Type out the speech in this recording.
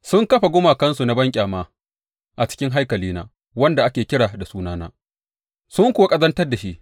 Sun kafa gumakansu na banƙyama a cikin haikalina wanda ake kira da sunana, sun kuwa ƙazantar da shi.